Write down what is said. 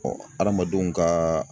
hadamadenw kaaa